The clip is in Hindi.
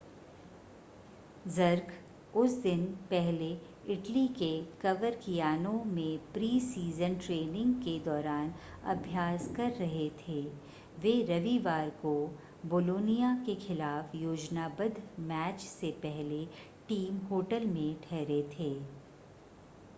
जर्क उस दिन पहले इटली के कवरकियानो में प्री-सीज़न ट्रेनिंग के दौरान अभ्यास कर रहे थे वे रविवार को बोलोनिया के खिलाफ़ योजनाबद्ध मैच से पहले टीम होटल में ठहरे थे